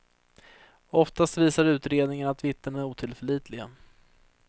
Oftast visar utredningarna att vittnena är otillförlitliga.